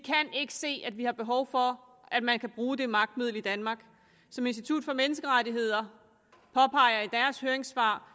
ikke se at vi har behov for at man kan bruge det magtmiddel i danmark som institut for menneskerettigheder påpeger i deres høringssvar